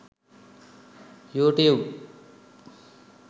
youtube